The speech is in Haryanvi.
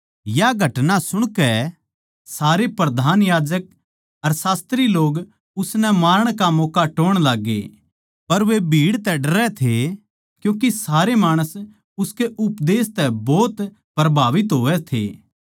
या घटना सुणकै सारे प्रधान याजक अर शास्त्री लोग उसनै मारण का मौक्का टोह्ण लाग्गे पर वे भीड़ तै डरै थे क्यूँके सारे माणस उसकै उपदेश तै भोत परभाबित होवै थे